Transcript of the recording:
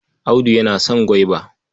Audu yana son gwaiba.